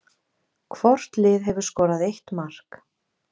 Hvort lið hefur skorað eitt mark